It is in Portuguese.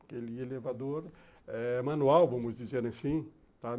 aquele elevador eh manual, vamos dizer assim, tá?